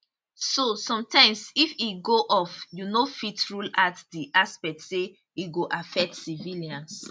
so sometimes if e go off you no fit rule out di aspect say e go affect civilians